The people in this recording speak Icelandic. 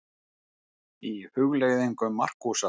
Í Hugleiðingum Markúsar